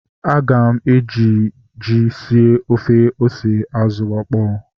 Aga m eji ji sie ofe ose azụ okpo